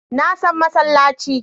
Na san masallaci